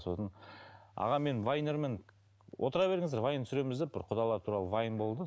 сосын аға мен вайнермін отыра беріңіздер вайн түсіреміз деп бір құдалар туралы вайн болды